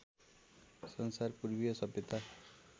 संसार पूर्वीय सभ्यता